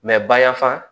bayanfan